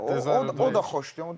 Hə Duet də, o o da xoşdur.